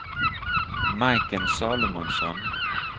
Majken Salomonsson